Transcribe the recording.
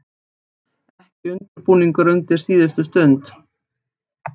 Ekki undirbúningur undir síðustu stund.